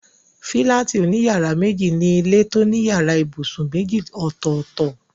Fílátì òní yàrá méjì ni ilé tó ní yàrá ibùsùn méjì ọ̀tọ̀ọ̀tọ̀